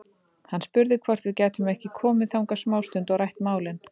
Hann spurði hvort við gætum ekki komið þangað smástund og rætt málin.